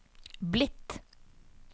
blitt